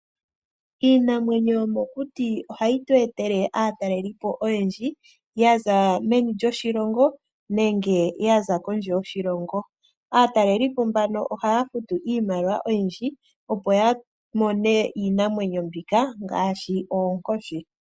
Iinamwenyo yomokuti ohayi tweetele aatalelipo oyendji yaza meni lyoshilongo nenge kondje yoshilongo. Aatalelipo mbano ohaya futu iimaliwa oyindji, opo yamone iinamwenyo mbika ngaashi oonkoshi.